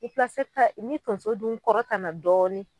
ni tonso dun kɔrɔtan na dɔɔni